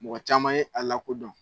Mɔgɔ caman ye a lakodɔn.